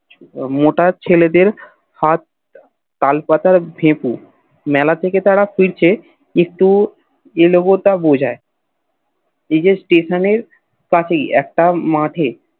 মোটা ছেলেদের হাত তালপাতার ফেকু মেলা থেকে তারা ফিরছে একটু এলবটা বোঝায় ঐ যে Station এর পাশেই একটা মাঠে